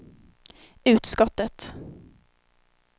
utskottet